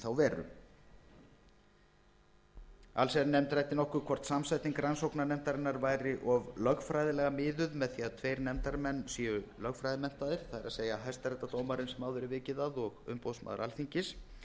ákvæðinu í þá veru allsherjarnefnd ræddi nokkuð hvort samsetning rannsóknarnefndarinnar væri of lögfræðilega miðuð með því að tveir nefndarmenn séu lögfræðimenntaðir það er hæstaréttardómarinn sem áður er vikið að og umboðsmaður alþingis